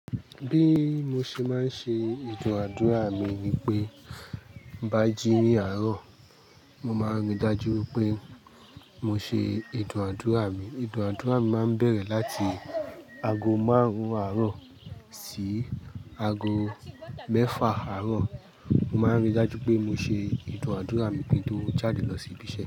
Bí mo ṣe máa ń ṣe ìdúnàádúrà mi ni pé bá jí ní àárọ̀, mo máa rí dájú pé mo ṣe ìdúnàádúrà mi. Ìdúnàádúrà mi máa ń bẹ̀rẹ̀ láti ago márùn-ún àárọ̀ sí ago mẹ́fà àárọ̀. Mo máa ń rí dájú pé mo ṣe ìdúnàádúrà mi kí n tó jáde lọ sí ibiṣẹ́.